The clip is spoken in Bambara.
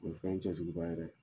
O ye fɛn cɛjuguba ye dɛ!